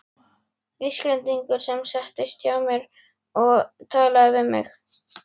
Íslendingur sem settist hjá mér og talaði við mig.